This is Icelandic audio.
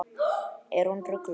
Er hún rugluð?